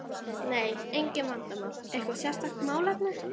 Nei, engin vandamál Eitthvað sérstakt málefni?